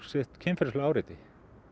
sitt kynferðislegu áreiti